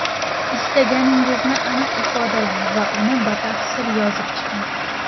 Istagingizni aniq ifodalang va uni batafsil yozib chiqing.